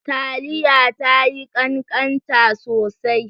Taliya tayi kankanta sosai.